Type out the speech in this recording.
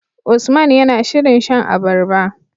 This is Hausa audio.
Usman yAna shirin shan abarba